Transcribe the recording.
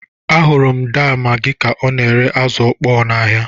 Ahụrụ m daa Magi ka ọ na-ere azụ ọkpọ n'ahịa.